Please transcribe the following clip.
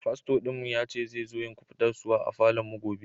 Fasto'n mu ya ce zai zo yin kubatarswa a falon mu gobe.